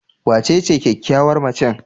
Wacece kyakkyawar macen?